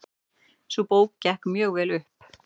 Sú bók gekk mjög vel upp.